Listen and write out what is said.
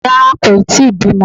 Rárá, kò yí tíì bímọ